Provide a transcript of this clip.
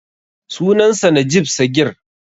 Sunansa Najib Sagir.